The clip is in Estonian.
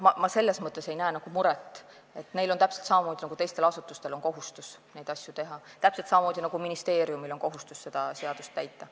Ma ei näe selles mõttes muret, neil on täpselt samamoodi nagu teistel asutustel kohustus neid asju teha, täpselt samuti nagu ministeeriumil on kohustus seda seadust täita.